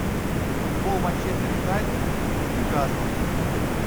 футбол манчестер юнайтед с ньюкаслом